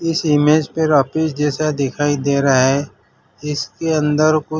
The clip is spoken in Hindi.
इस इमेज पे ऑफिस जैसा दिखाई दे रहा है इसके अंदर कु--